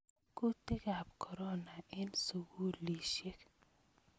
Kutikab korona eng sukulisiek